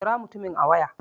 Kira mutumin a waya